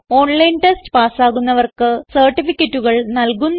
online test പാസ്സാകുന്നവർക്ക് സർട്ടിഫികറ്റുകൾ നല്കുന്നു